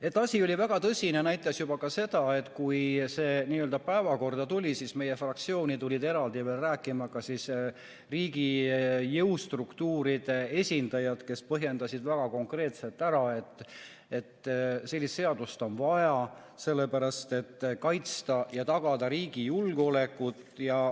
Et asi oli väga tõsine, näitas juba ka see, et kui see eelnõu päevakorda tuli, siis tulid meie fraktsiooni veel eraldi riigi jõustruktuuride esindajad, kes põhjendasid väga konkreetselt ära, miks on sellist seadust vaja – sellepärast, et kaitsta ja tagada riigi julgeolekut.